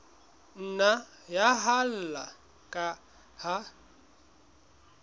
nna ya haella ka ha